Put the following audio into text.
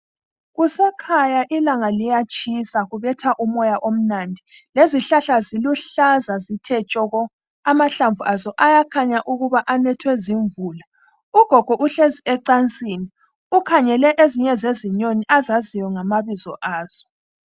Kusekhaya ilanga liyatshisa kubetha umoya omnandi. Lezihlahla ziluhlaza zithe tshoko, amahlamvu azo ayakhanya ukuthi anethwe zimvula. Ugogo uhlezi ecansini, ukhangele ezinye zezinyoni azaziyo ngamabizo azo.